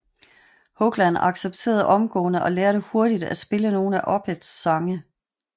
Hoglan accepterede omgående og lærte hurtigt at spille nogle af Opeths sange